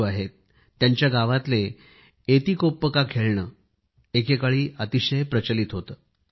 राजू आहेत त्यांच्या गावातले एतिकोप्पका खेळणे एकेकाळी अतिशय प्रचलित होते